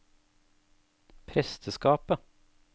presteskapet